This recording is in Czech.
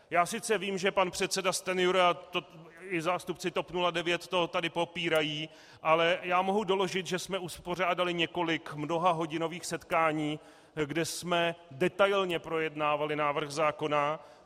Já sice vím, že pan předseda Stanjura i zástupci TOP 09 to tady popírají, ale já mohu doložit, že jsme uspořádali několik mnohahodinových setkání, kde jsme detailně projednávali návrh zákona.